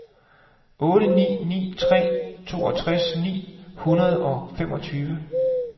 otte ni ni tre toogtres ni hundrede og femogtyve